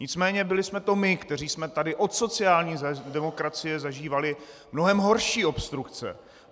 Nicméně byli jsme to my, kteří jsme tady od sociální demokracie zažívali mnohem horší obstrukce.